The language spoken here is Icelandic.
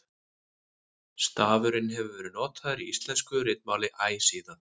stafurinn hefur verið notaður í íslensku ritmáli æ síðan